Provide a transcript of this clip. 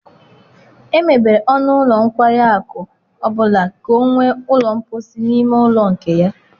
Emebere ọnụ ụlọ nkwari akụ ọ bụla ka ọ nwee ụlọ mposi na ime ụlọ nke ya.